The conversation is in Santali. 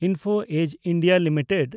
info edge (India) limited